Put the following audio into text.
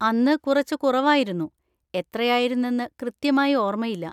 അന്ന് കുറച്ച് കുറവായിരുന്നു, എത്രയായിരുന്നെന്ന് കൃത്യമായി ഓർമയില്ല.